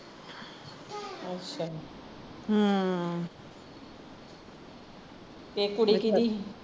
ਅੱਛਾ , ਤੇ ਕੁੜੀ ਕਿਹਦੀ ਸੀ